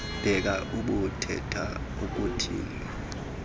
bhede ubuthetha ukuthini